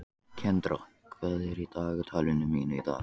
Kendra, hvað er á dagatalinu mínu í dag?